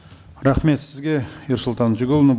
рахмет сізге ерсұлтан өтеғұлыұлы